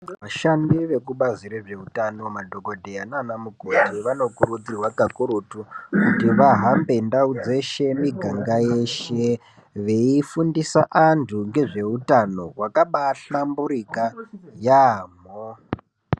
Vashandi vekubazi rezveutano madhokodheya nana mukoti vanokurudzirwa kakurutu kuti vahambe ndau dzeshe muganga yeshe veifundisa vantu ngezvehutano zvekubanhlamburika yaamho .